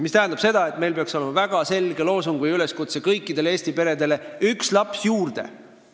See tähendab seda, et meil peaks olema väga selge loosung või üleskutse kõikidele Eesti peredele: üks laps juurde!